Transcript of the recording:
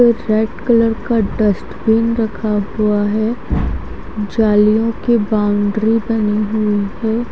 एक white colour का dustbin रखा हुआ है जलियों के बाउंड्री बनी हुई है।